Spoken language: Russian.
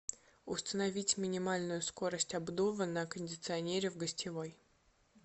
установить минимальную скорость обдува на кондиционере в гостевой